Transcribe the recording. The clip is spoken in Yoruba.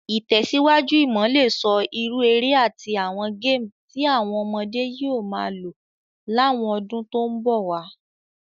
Ìtẹ̀síwájú imo le so irú eré àtí àwon game ti àwon ọmọdé yio ma lo láwon odún to n bòwá